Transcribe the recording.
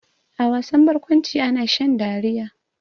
A wasan barkwanci ana shan dariya.